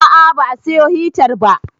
A'a ba a siyo hitar ba